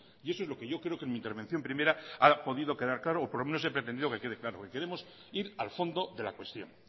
y eso es lo que yo creo que en mi intervención primera ha podido quedar claro o por lo menos he pretendido que quede claro queremos ir al fondo de la cuestión